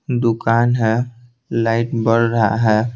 दुकान है लाइट बढ़ रहा है।